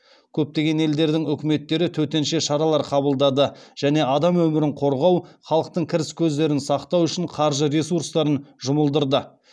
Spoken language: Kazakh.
көптеген елдердің үкіметтері төтенше шаралар қабылдады және адам өмірін қорғау халықтың кіріс көздерін сақтау үшін қаржы ресурстарын жұмылдырды